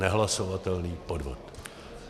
Nehlasovatelný podvod.